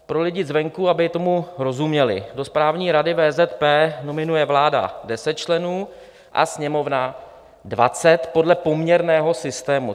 Pro lidi zvenku, aby tomu rozuměli: do Správní rady VZP nominuje vláda 10 členů a Sněmovna 20 podle poměrného systému.